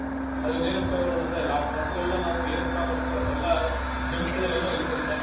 ಅದ್ರಿಂದ ಏನ್ ಉಪಯೋಗಗಳಂತಂದ್ರೆ ರಾತ್ರಿಯೆಲ್ಲ ನಾವು ಏನ್ ಊಟ ಮಾಡಿರ್ತಿವಿ ಅದೆಲ್ಲಾ germs ಗಳೇನೋ ಇರತ್ತಂತೆ.